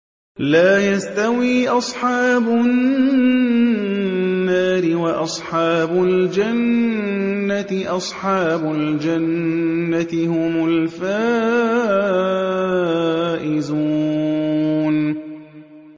لَا يَسْتَوِي أَصْحَابُ النَّارِ وَأَصْحَابُ الْجَنَّةِ ۚ أَصْحَابُ الْجَنَّةِ هُمُ الْفَائِزُونَ